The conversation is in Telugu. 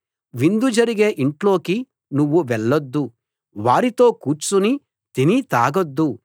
విందు జరిగే ఇంట్లోకి నువ్వు వెళ్లొద్దు వారితో కూర్చుని తిని తాగొద్దు